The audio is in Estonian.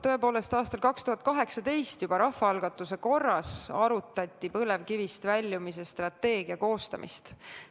Tõepoolest, aastal 2018 juba rahvaalgatuse korras arutati põlevkivienergeetikast väljumise strateegia koostamist.